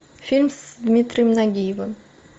фильм с дмитрием нагиевым